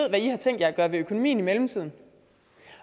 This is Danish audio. i har tænkt jer at gøre ved økonomien i mellemtiden